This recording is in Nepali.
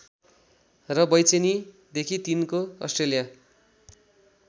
र बेचैनीदेखि तिनको अस्ट्रेलिया